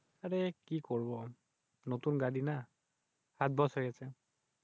আরে কি করবো আর? নতুন গাড়ি না? হাত বসে গেছে।